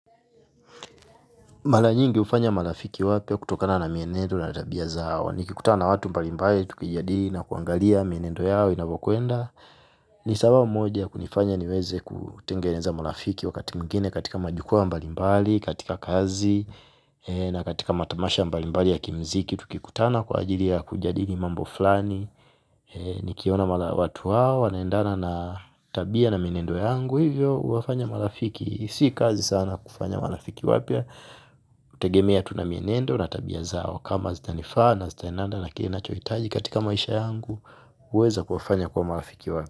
Mara nyingi hufanya marafiki wapya kutokana na mienendo na tabia zao. Nikikutana watu mbalimbali, tukijadili na kuangalia mienendo yao inavyokwenda. Ni sababu moja kunifanya niweze kutengeneza marafiki wakati mwingine katika majukwaa mbalimbali, katika kazi na katika matamasha mbalimbali ya kimuziki. Tukikutana kwa ajili ya kujadili mambo fulani. Nikiona watu hao wanaendana na tabia na mienendo yangu. Kwa hivyo huwafanya marafiki, si kazi sana kufanya marafiki wapya hutegemea tu na mienendo na tabia zao kama zitanifaa na zitaendana na kile ninachohitaji katika maisha yangu huweza kuwafanya kuwa marafiki wapya.